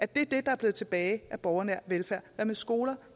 det det der er blevet tilbage af borgernær velfærd hvad med skoler